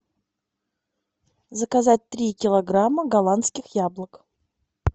заказать три килограмма голландских яблок